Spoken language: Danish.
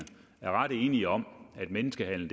er ret enige om at menneskehandel